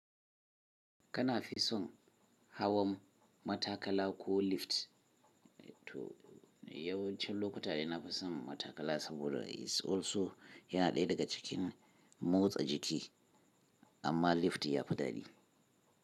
Kana fi son hawan matakala ko lift? Yawan can lokuta ina fi son matakala saboda is also yana ɗaya daga cikin motsa jiki, amma lift ya fi daɗi.